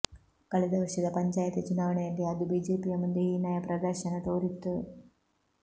ಕಳೆದ ವರ್ಷದ ಪಂಚಾಯತಿ ಚುನಾವಣೆಯಲ್ಲಿ ಅದು ಬಿಜೆಪಿಯ ಮುಂದೆ ಹೀನಾಯ ಪ್ರದರ್ಶನ ತೋರಿತ್ತು